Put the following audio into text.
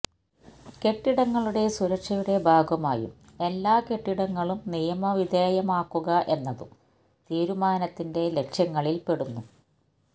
കെട്ടിടങ്ങളുടെ സുരക്ഷയുടെ ഭാഗമായും എല്ലാ കെട്ടിടങ്ങളും നിയവിധേയമാക്കുക എന്നതും തീരുമാനത്തിന്റെ ലക്ഷ്യങ്ങളില് പെടുന്നു